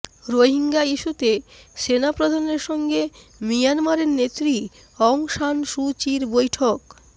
রোহিঙ্গা ইস্যুতে সেনাপ্রধানের সঙ্গে মিয়ানমারের নেত্রী অং সান সু চির বৈঠক